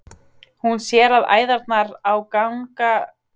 Hún sér að æðarnar á gagnaugunum eru þrútnar.